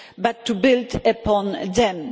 but to build upon them.